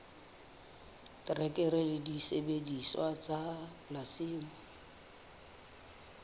terekere le disebediswa tsa polasing